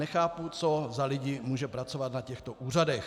Nechápu, co za lidi může pracovat na těchto úřadech.